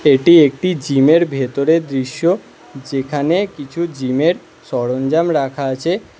এটি একটি জিমের ভেতরের দৃশ্য যেখানে কিছু জিমের সরঞ্জাম রাখা আছে।